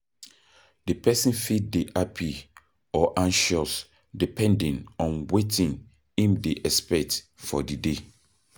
Di person fit dey happy or anxious depending on wetin im dey expect for di day